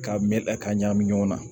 K'a mɛ a ka ɲagamin ɲɔgɔn na